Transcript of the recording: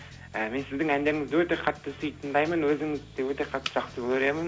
і мен сіздің әндеріңізді өте қатты сүйіп тыңдаймын өзіңізді де өте қатты жақсы көремін